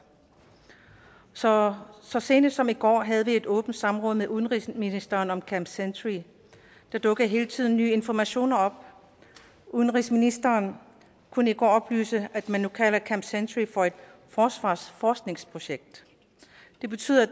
så så sent som i går havde vi et åbent samråd med udenrigsministeren om camp century der dukker hele tiden nye informationer op udenrigsministeren kunne i går oplyse at man nu kalder camp century for et forsvars forskningsprojekt det betyder at